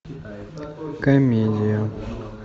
комедия